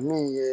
Min ye